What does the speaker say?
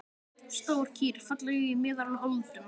Stór kýr, falleg í meðal holdum.